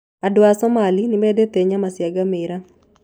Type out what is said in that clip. Andũ a Somalia nĩ mendete nyama cia ngamĩĩra.